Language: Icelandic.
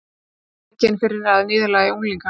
Rekinn fyrir að niðurlægja unglinga